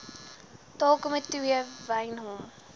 taalkomitee wy hom